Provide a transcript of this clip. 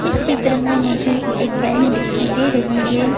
इस चित्र में मुझे एक बैंक दिखाई दे रही है।